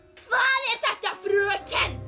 hvað er þetta fröken